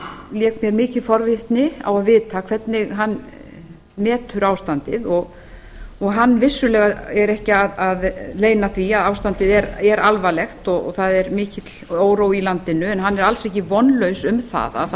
lék mér mikil forvitni á að vita hvernig hann metur ástandið hann vissulega leynir því ekki að ástandið er alvarlegt og það er mikill órói í landinu en hann er alls ekki vonlaus um að það